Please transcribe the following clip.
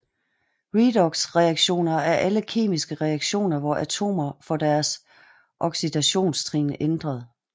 Redoxreaktioner er alle kemiske reaktioner hvor atomer får deres oxidationstrin ændret